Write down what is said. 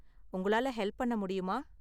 உங்களால ஹெல்ப் பண்ண முடியுமா?